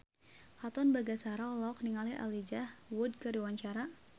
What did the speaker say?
Katon Bagaskara olohok ningali Elijah Wood keur diwawancara